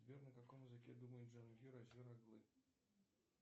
сбер на каком языке думает джангир азер оглы